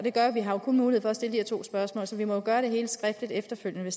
vi har jo kun mulighed for at stille to spørgsmål så vi må gøre det hele skriftligt efterfølgende